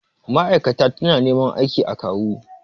Mai'aikata ta na neman ma'aikatan a kawu